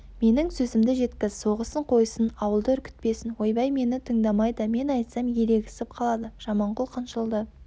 менің сөзімді жеткіз соғысын қойсын ауылды үркітпесін ойбай мені тыңдамайды мен айтсам ерегісіп қалады жаманқұл қынжылды